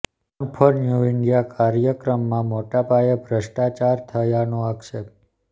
run for new India કાર્યક્રમમાં મોટાપાયે ભ્રષ્ટાચાર થયાનો આક્ષેપ